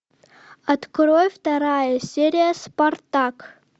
открой вторая серия спартак